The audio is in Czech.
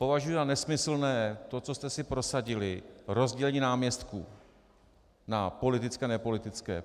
Považuji za nesmyslné to, co jste si prosadili, rozdělení náměstků na politické a nepolitické.